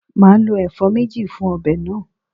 Màá lo èfó méje fun obè náà